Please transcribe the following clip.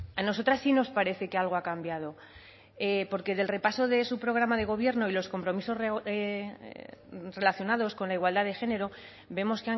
a nosotras sí nos parece que algo ha cambiado porque del repaso de su programa de gobierno y los compromisos relacionados con la igualdad de género vemos